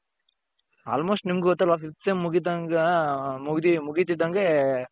almost ನಿಮಗೆ ಗೊತ್ತಲ್ವ fifth sem ಮುಗೀತಿದ್ದoಗೆ ಮುಗ್ಡಿ ಮುಗೀತಿದ್ದಂಗೆ